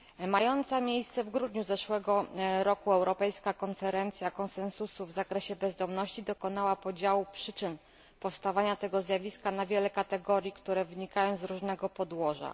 Mająca miejsce w grudniu zeszłego roku europejska konferencja konsensusu w zakresie bezdomności dokonała podziału przyczyn powstawania tego zjawiska na wiele kategorii, które wynikają z różnego podłoża.